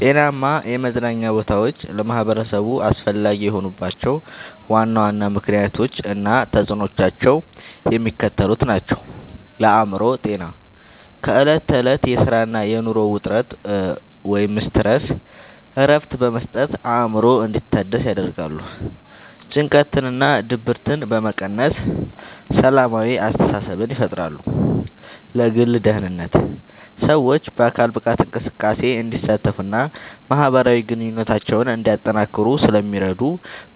ጤናማ የመዝናኛ ቦታዎች ለማኅበረሰቡ አስፈላጊ የሆኑባቸው ዋና ዋና ምክንያቶች እና ተፅዕኖዎቻቸው የሚከተሉት ናቸው፦ ለአእምሮ ጤና፦ ከዕለት ተዕለት የሥራና የኑሮ ውጥረት (Stress) እረፍት በመስጠት አእምሮ እንዲታደስ ያደርጋሉ። ጭንቀትንና ድብርትን በመቀነስ ሰላማዊ አስተሳሰብን ይፈጥራሉ። ለግል ደህንነት፦ ሰዎች በአካል ብቃት እንቅስቃሴ እንዲሳተፉና ማኅበራዊ ግንኙነታቸውን እንዲያጠናክሩ ስለሚረዱ፣